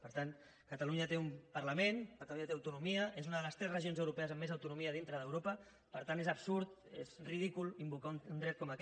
per tant catalunya té un parlament catalunya té autonomia és una de les tres regions europees amb més autonomia dintre d’europa per tant és absurd és ridícul invocar un dret com aquest